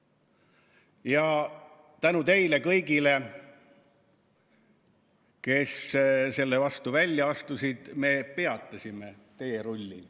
Ja tänu teile kõigile, kes selle vastu välja astusid, me peatasime teerulli.